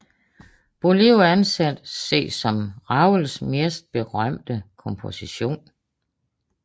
Boléro anses som Ravels mest berømte komposition